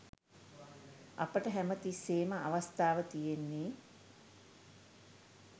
අපට හැම තිස්සේම අවස්ථාව තියෙන්නේ